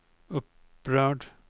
upprörd